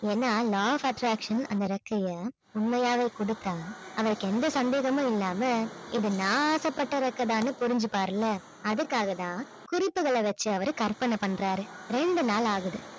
ஏன்னா law of attraction அந்த றெக்கைய உண்மையாவே கொடுத்தா அவருக்கு எந்த சந்தேகமும் இல்லாமல் இது நான் ஆசைப்பட்ட றெக்கை தான்னு புரிஞ்சுப்பார் இல்லை அதுக்காக தான் குறிப்புகளை வச்சி அவரு கற்பனை பண்றாரு. ரெண்டு நாள் ஆகுது